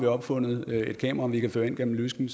opfundet et kamera vi kan føre ind gennem lysken